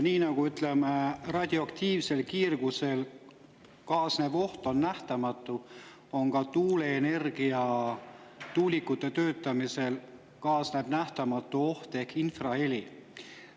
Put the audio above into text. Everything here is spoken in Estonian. Nii nagu on radioaktiivse kiirgusega kaasnev oht nähtamatu, kaasneb ka tuuleenergia ja tuulikute töötamisega nähtamatu oht ehk infraheli.